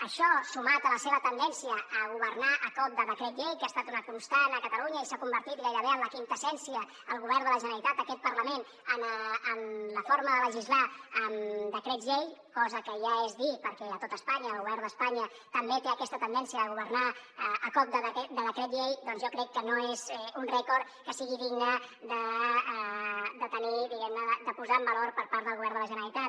això sumat a la seva tendència a governar a cop de decret llei que ha estat una constant a catalunya i s’ha convertit gairebé en la quinta essència del govern de la generalitat aquest parlament en la forma de legislar amb decrets llei cosa que ja és dir perquè a tot espanya el govern d’espanya també té aquesta tendència de governar a cop de decret llei doncs jo crec que no és un rècord que sigui digne de tenir diguem ne de posar en valor per part del govern de la generalitat